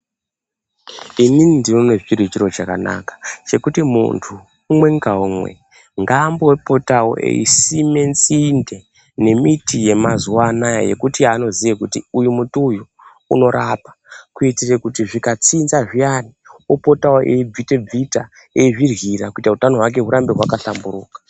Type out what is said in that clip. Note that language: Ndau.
Inini ndinoona chiri chiro chakanaka chekuti munthu umwe ngaumwe ngaambopotao eisime nzinde nemiti yemazuwanaya yekuti yaanoziya kuti uyu muti uyu unorapa kuitire kuti zvikatsinza zviyana optao eibvita bvita eizviryira kuita kuti utano hwakeo hurambe hwakahlamburuka.